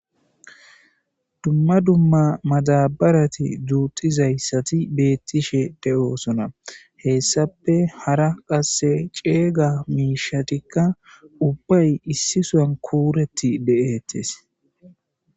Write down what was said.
Dumma dumma madabarati dzuuxizayssati beettishe de7osona hessape hara qasse ceega miishatikka ubbay issisoan kuureti de7ettes.